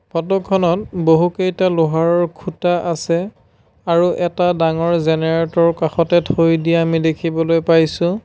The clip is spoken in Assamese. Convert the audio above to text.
ফটোখনত বহুকেইটা লোহাৰৰ খুঁটা আছে আৰু এটা ডাঙৰ জেনেৰেটৰ কাষতে থৈ দিয়া আমি দেখিবলৈ পাইছোঁ।